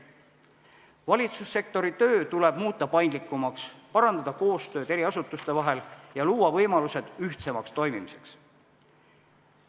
Valitsussektori töö tuleb muuta paindlikumaks, parandada koostööd asutuste vahel ja luua võimalused ühtsemaks toimimiseks.